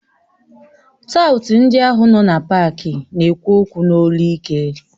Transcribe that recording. Taụt ndị ahụ nọ na pááki na-ekwu okwu n'olu ike